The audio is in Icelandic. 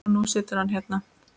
Og nú situr hann hérna.